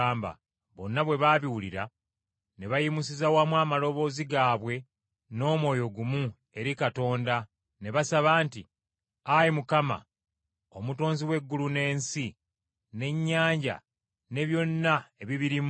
Bonna bwe baabiwulira ne bayimusiza wamu amaloboozi gaabwe n’omwoyo gumu eri Katonda ne basaba nti, “Ayi Mukama, Omutonzi w’eggulu n’ensi n’ennyanja ne byonna ebibirimu,